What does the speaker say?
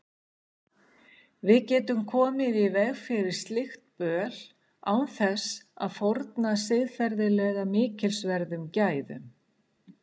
Við getum komið í veg fyrir slíkt böl án þess að fórna siðferðilega mikilsverðum gæðum.